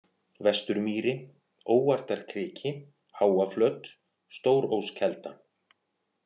Vesturmýri, Óartarkriki, Háaflöt, Stóróskelda